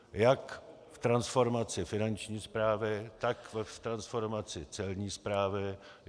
Jak v transformaci finanční správy, tak v transformaci celní správy.